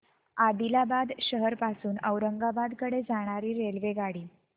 आदिलाबाद शहर पासून औरंगाबाद कडे जाणारी रेल्वेगाडी